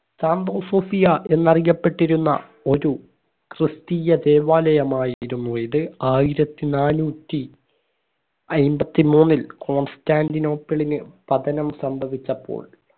സാംപോസോഫിയ എന്നറിയപ്പെട്ടിരുന്ന ഒരു ക്രിസ്തീയ ദേവാലയമായിരുന്നു ഇത് ആയിരത്തി നാനൂറ്റി അയ്മ്പതി മൂന്നിൽ കൊൻസ്ടന്റിനോപ്പിളിന് പതനം സംഭവിച്ചപ്പോൾ